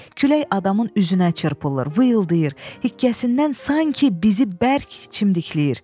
Külək adamın üzünə çırpılır, vıyıldayır, hikkəsindən sanki bizi bərk çimdikləyir.